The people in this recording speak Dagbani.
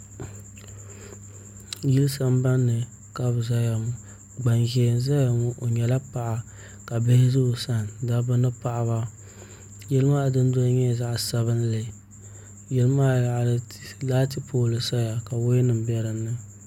Yili sambanni ka bi ʒɛya ŋɔ gbanʒiɛ n ʒɛya ŋɔ o nyɛla paɣa ka bihi ʒɛ o sani dabba ni paɣaba yili maa dundoli nyɛla zaɣ sabinli yili maa yaɣali laati pool nim saya ka laati bɛ dinni